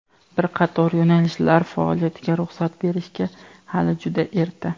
"Bir qator yo‘nalishlar faoliyatiga ruxsat berishga hali juda erta".